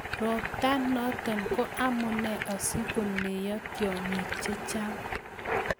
Robtanoto ko amune asikuneyo tyong'ik chechang'